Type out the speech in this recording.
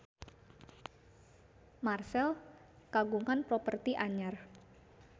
Marchell kagungan properti anyar